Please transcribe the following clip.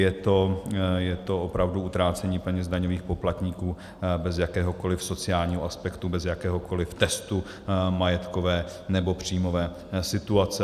Je to opravdu utrácení peněz daňových poplatníků bez jakéhokoli sociálního aspektu, bez jakéhokoli testu majetkové nebo příjmové situace.